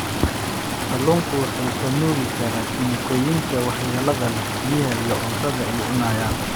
Kalluunku wuxuu ka nuugi karaa kiimikooyinka waxyeellada leh biyaha iyo cuntada ay cunayaan